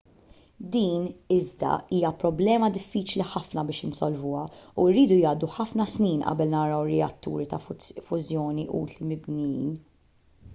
din iżda hija problema diffiċli ħafna biex insolvuha u jridu jgħaddu ħafna snin qabel naraw reatturi ta' fużjoni utli mibnijin